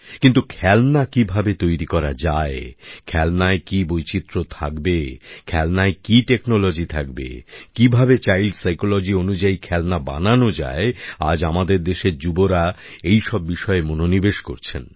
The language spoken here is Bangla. কিন্তু খেলনা কিভাবে তৈরি করা যায় খেলনায় কি বৈচিত্র থাকবে খেলনায় কি প্রযুক্তি থাকবে কিভাবে শিশুদের মনস্তত্ত্ব অনুযায়ী খেলনা বানানো যায় আজ আমাদের দেশের যুবরা এইসব বিষয়ে মনোনিবেশ করছেন